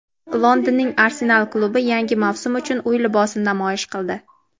Londonning "Arsenal" klubi yangi mavsum uchun uy libosini namoyish qildi.